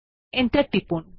enter টিপুন